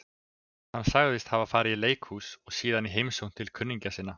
Hann sagðist hafa farið í leikhús og síðan í heimsókn til kunningja sinna.